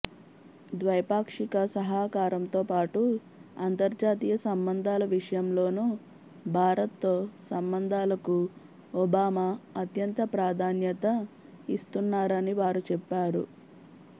ద్వైపాక్షిక సహకారంతోపాటు అంతర్జాతీయ సంబంధాల విషయంలోనూ భారత్తో సంబంధాలకు ఒబామా అత్యంత ప్రాధాన్యత ఇస్తున్నారని వారు చెప్పారు